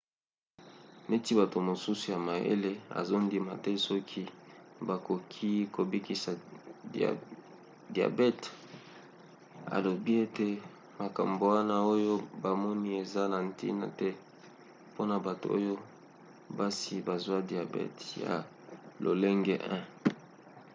neti bato mosusu ya mayele azondima te soki bakoki kobikisa diabte alobi ete makambo wana oyo bamoni eza na ntina te mpona bato oyo basi bazwa diabete ya lolenge 1